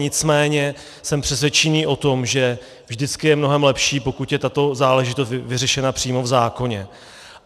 Nicméně jsme přesvědčeni o tom, že vždycky je mnohem lepší, pokud je tato záležitost vyřešena přímo v zákoně.